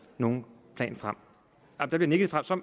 nogen plan frem der bliver nikket